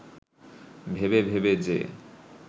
ভেবে ভেবে যে